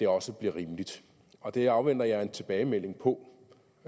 også bliver rimeligt og det afventer jeg en tilbagemelding på